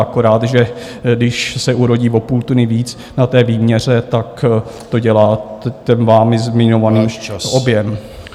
Akorát že když se urodí o půl tuny víc na té výměře, tak to dělá ten vámi zmiňovaný objem.